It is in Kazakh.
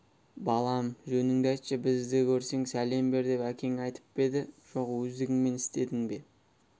балам жөніңді айтшы бізді көрсең сәлем бер деп әкең айтып па еді жоқ өздігіңмен істедің бе